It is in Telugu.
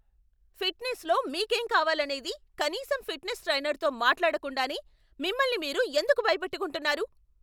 ఫిట్నెస్లో మీకేం కావాలనేది కనీసం ఫిట్నెస్ ట్రైనర్తో మాట్లాడకుండానే మిమ్మల్ని మీరు ఎందుకు భయపెట్టుకుంటున్నారు?